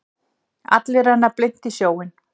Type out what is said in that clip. Allir renna blint í sjóinn.